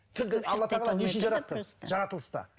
тілді алла тағала не үшін жаратты жаратылыста